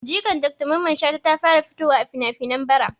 Jikan Dr mamman shata ta fara fitowa a finafinai bara